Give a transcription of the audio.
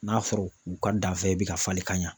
N'a sɔrɔ u ka danfɛn bɛ ka falen ka ɲa.